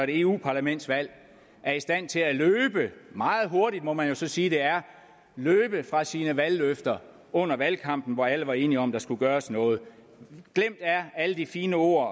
eu parlamentsvalg er i stand til at løbe meget hurtigt må man jo så sige det er fra sine valgløfter under valgkampen hvor alle var enige om at der skulle gøres noget glemt er alle de fine ord